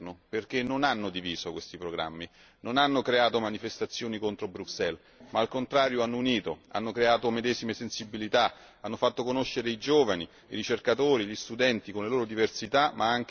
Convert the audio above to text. non hanno creato manifestazioni contro Bruxelles ma, al contrario, hanno unito, hanno creato medesime sensibilità, hanno fatto conoscere i giovani, i ricercatori, gli studenti, con le loro diversità ma anche per cercare una base comune su cui crescere.